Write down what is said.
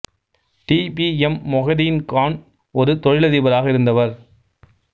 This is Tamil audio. D P M Mohideen Khan ஒரு தொழிலதிபராக இருந்தவர்